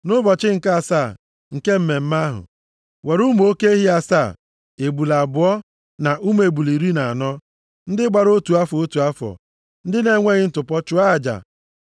“ ‘Nʼụbọchị nke asaa nke mmemme ahụ, were ụmụ oke ehi asaa, ebule abụọ na ụmụ ebule iri na anọ, ndị gbara otu afọ, otu afọ, ndị na-enweghị ntụpọ, chụọ aja.